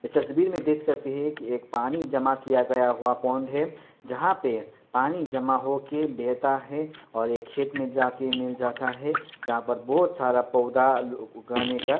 यह तस्वीर मे देख सकते हैं की एक पानी जमा किया गया हुआ पॉण्ड है जहाँ पे पानी जमा हो के बेहता है और ये खेत में जाके मिल जाता है। जहा पर बहुत सरा पोधा उ-उगाने का--